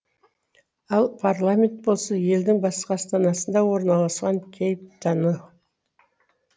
ал парламент болса елдің басқа астанасында орналасқан кейптану